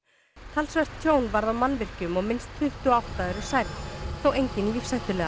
talsvert tjón varð á mannvirkjum og minnst tuttugu og átta eru særð enginn lífshættulega